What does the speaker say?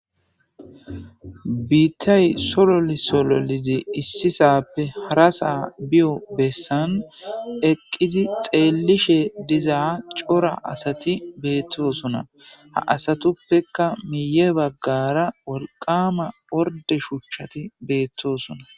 biittay sololi sololi issisappe harasaa biyo bessan eqqizi xeellishe dizaa cora asati beettosona. ha asatuppeka miye baggara wolqama orde shuchchati beettosona.